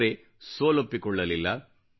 ಆದರೆ ಸೋಲೊಪ್ಪಿಕೊಳ್ಳಲಿಲ್ಲ